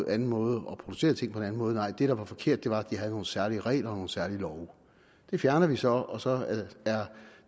anden måde og producere ting på en anden måde nej det der var forkert var at de havde nogle særlige regler og nogle særlige love det fjernede vi så og så er